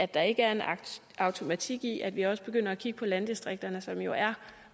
der ikke er en automatik i at vi også begynder at kigge på landdistrikterne som jo er